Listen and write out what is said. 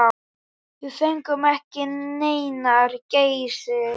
Við fengum ekki neinar gæsir.